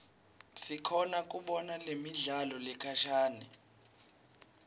sikhona kubona nemidlalo lekhashane